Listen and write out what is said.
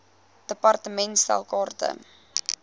department stel kaarte